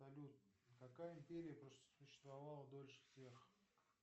салют какая империя просуществовала дольше всех